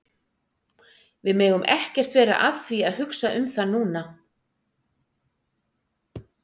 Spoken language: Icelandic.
Við megum ekkert vera að því að hugsa um það núna.